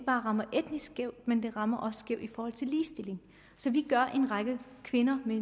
bare rammer etnisk skævt men det rammer skævt i forhold til ligestilling så vi gør en række kvinder